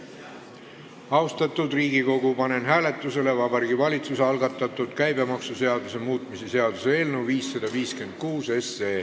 Austatud Riigikogu, panen hääletusele Vabariigi Valitsuse algatatud käibemaksuseaduse muutmise seaduse eelnõu 556.